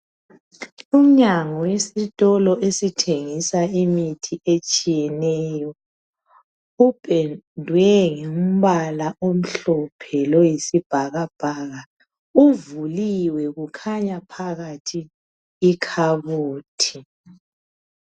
Umnyango wesitolo esithengisa imithi etshiyeneyo. Upendwe ngombala omhlophe loyisibhakabhaka. Uvuliwe ,kukhanya phakathi ikhabothi.